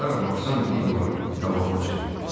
Hara baxsan videolar qabağıma çıxırdı.